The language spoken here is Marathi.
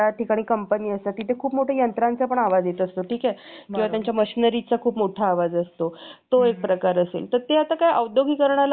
किंवा त्यांच्या machinery चा खूप मोठा आवाज असतो तो एक प्रकार असेल तर त्या औद्योगीकरणाला काय आपण रोखू शकत नाही ते देशाच्या विकासासाठी गरजेचं पण आहे ठीक आहे